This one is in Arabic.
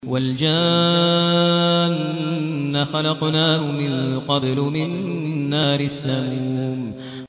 وَالْجَانَّ خَلَقْنَاهُ مِن قَبْلُ مِن نَّارِ السَّمُومِ